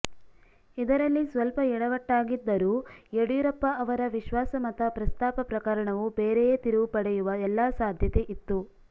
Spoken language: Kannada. ಇದರಲ್ಲಿ ಸ್ವಲ್ಪ ಯಡವಟ್ಟಾಗಿದ್ದರೂ ಯಡಿಯೂರಪ್ಪ ಅವರ ವಿಶ್ವಾಸಮತ ಪ್ರಸ್ತಾಪ ಪ್ರಕರಣವೂ ಬೇರೆಯೇ ತಿರುವು ಪಡೆಯುವ ಎಲ್ಲಾ ಸಾಧ್ಯತೆಯಿತ್ತು